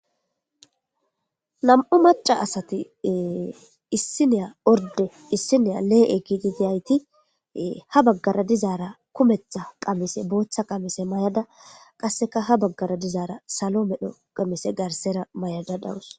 nam7u maca asati issiniya orde issiniya lee7e giiti tiyayti ha baggara dizaara kumetha qamise booththa qamise mayada qasseka ha baggara dizaara salo medho qamise garsera mayada dawus